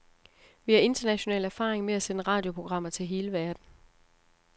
Vi har international erfaring med at sende radioprogrammer til hele verden.